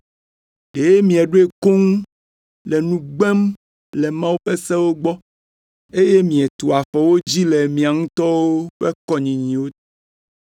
Ɖe mieɖoe koŋ le nu gbem le Mawu ƒe sewo gbɔ, eye mietu afɔ wo dzi le miawo ŋutɔ ƒe kɔnyinyiwo ta.